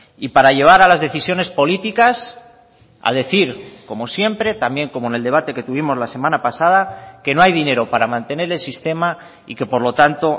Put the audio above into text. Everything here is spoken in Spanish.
y para llevar a las decisiones políticas a decir como siempre también como en el debate que tuvimos la semana pasada que no hay dinero para mantener el sistema y que por lo tanto